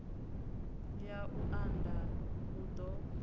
ya u unḓa hu ḓo